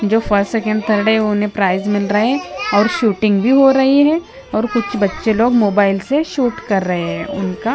जो first second third है उन्हें प्राइज मिल रहे हैं और शूटिंग भी हो रही है और कुछ बच्चे मोबाइल से शूट कर रहे है उनका।